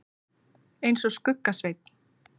eins og Skugga-Sveinn.